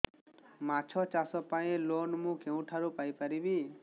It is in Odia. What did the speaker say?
ମାଛ ଚାଷ ପାଇଁ ଲୋନ୍ ମୁଁ କେଉଁଠାରୁ ପାଇପାରିବି